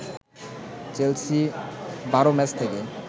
Chelsea ১২ match থেকে